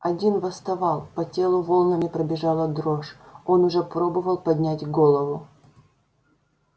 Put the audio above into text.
один восставал по телу волнами пробежала дрожь он уже пробовал поднять голову